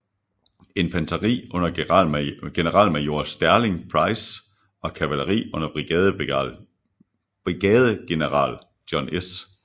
Infanteri under generalmajor Sterling Price og kavaleri under brigadegeneral John S